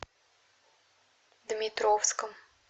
дмитровском